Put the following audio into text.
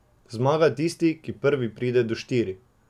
Zmaga tisti, ki prvi pride do štiri.